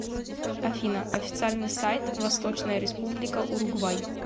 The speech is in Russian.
афина официальный сайт восточная республика уругвай